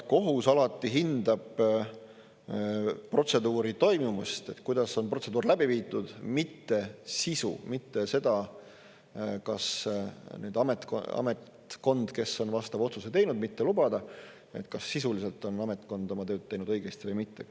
Kohus alati hindab protseduuri toimumist, kuidas on protseduur läbi viidud, mitte sisu, mitte seda, kas ametkond, kes on vastava otsuse teinud mitte lubada, kas sisuliselt on ametkond oma tööd teinud õigesti või mitte.